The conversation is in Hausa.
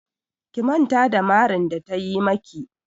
Ki manta da marin da ta yi maki!